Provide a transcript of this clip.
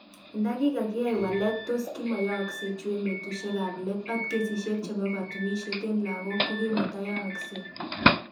"Indakikakiyai walet tos kimakoyooksek chu eng betushek kap let ot kesishek chebo kotunishet en lagok kokimotoyoosek